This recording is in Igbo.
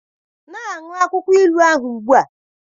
Na-aṅụ akwụkwọ ilu ahụ ugbu a.